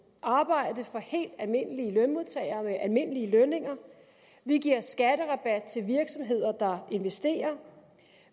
arbejde for helt almindelige lønmodtagere med almindelige lønninger vi giver en skatterabat til virksomheder der investerer